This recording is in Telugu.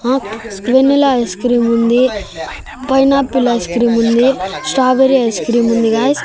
ఆ వెన్నెల ఐస్క్రీమ్ ఉంది పైనాపిల్ ఐస్క్రీమ్ ఉంది స్టాబెర్రీ ఐస్క్రీమ్ ఉంది గాయ్స్ .